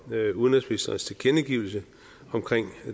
udenrigsministerens tilkendegivelse omkring